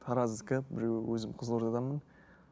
тараздікі біреуі өзім қызылордаданмын